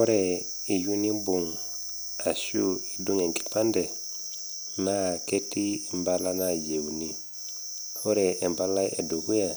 Ore iyou nimbung' arashu nidung' enkipande naa ketii impala nayieuni, Ore empalai e dukuya,